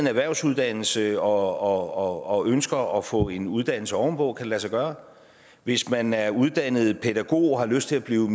en erhvervsuddannelse og ønsker at få en uddannelse ovenpå det lade sig gøre hvis man er uddannet pædagog og har lyst til at blive